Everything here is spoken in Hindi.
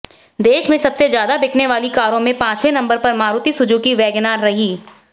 देश में सबसे ज्यादा बिकने वाली कारों में पांचवे नंबर पर मारुति सुजुकी वैगनआर रही